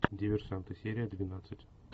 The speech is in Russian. диверсанты серия двенадцать